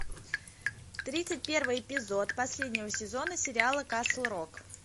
тридцать первый эпизод последнего сезона сериала касл рок